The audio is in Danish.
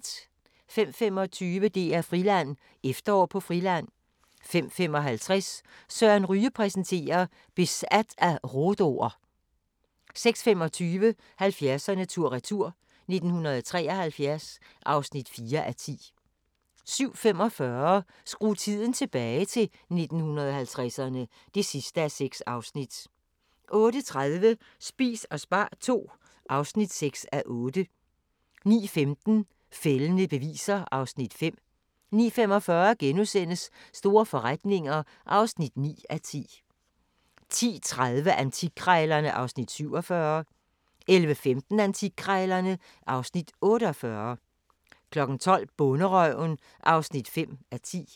05:25: DR-Friland: Efterår på Friland 05:55: Søren Ryge præsenterer: Besat af rhodo'er 06:25: 70'erne tur-retur: 1973 (4:10) 07:45: Skru tiden tilbage – til 1950'erne (6:6) 08:30: Spis og spar II (6:8) 09:15: Fældende beviser (Afs. 5) 09:45: Store forretninger (9:10)* 10:30: Antikkrejlerne (Afs. 47) 11:15: Antikkrejlerne (Afs. 48) 12:00: Bonderøven (5:10)